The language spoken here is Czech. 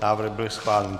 Návrh byl schválen.